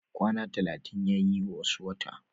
Kwana talatin yayi wasu wata